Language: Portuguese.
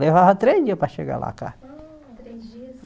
Levava três dias para chegar lá a carta. Ah três dias